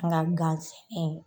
Kɛla n ganselen ye.